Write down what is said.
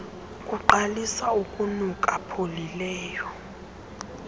kuqalisa ukunuka pholileleyo